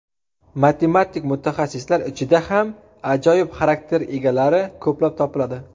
Matematik mutaxassislar ichida ham ajoyib xarakter egalari ko‘plab topiladi.